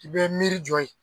I bɛ miirijɔ yen.